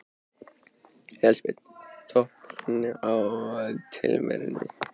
Elísabet: Toppurinn á tilverunni?